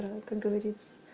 как говорится